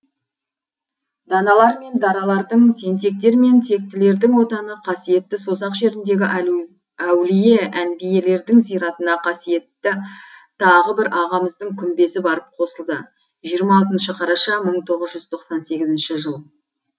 даналар мен даралардың тентектер мен тектілердің отаны қасиетті созақ жеріндегі әулие әнбиелердің зиратына қасиетті тағы бір ағамыздың күмбезі барып қосылды жиырма алтыншы қараша мың тоғыз жүз тоқсан сегізінші жыл